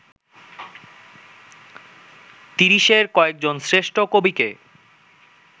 তিরিশের কয়েকজন শ্রেষ্ঠ কবিকে